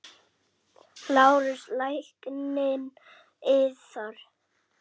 LÁRUS: Lækninn yðar?